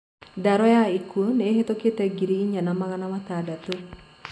Ndaro ya ikuũ ni ihĩtũkite ngiri inya na magana matandatũ